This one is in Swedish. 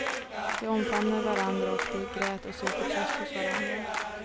De omfamnade varandra och de grät och sökte tröst hos varandra.